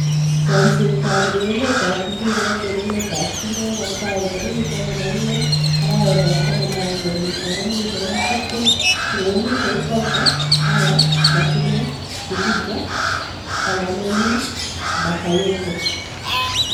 Chomset ab urerenet ab mbiret eng emet ab chumbek kotaai tarikir 16.11.2020: Pogba, Haaland, Martinez, Rudiger, Calhanoglu, Bakayoko